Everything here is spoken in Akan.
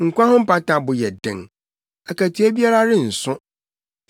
nkwa ho mpata bo yɛ den, akatua biara renso,